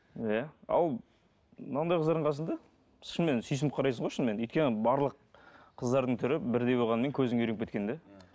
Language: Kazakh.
иә ал мынандай қыздардың қасында шынымен сүйсініп қарайсың ғой шынымен өйткені барлық қыздардың түрі бірдей болғаннан кейін көзің үйреніп кеткен да